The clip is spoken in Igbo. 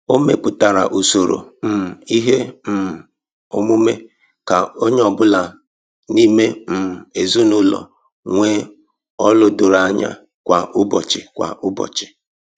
O mepụtara usoro um ihe um omume ka onye ọ bụla n'ime um ezinụlọ nwee ọlụ doro anya kwa ụbọchị. kwa ụbọchị.